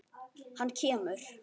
Hann kemur.